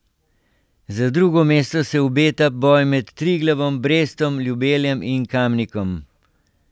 Za drugo mesto se obeta boj med Triglavom, Brestom, Ljubeljem in Kamnikom.